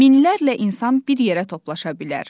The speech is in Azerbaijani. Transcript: Minlərlə insan bir yerə toplaşa bilər.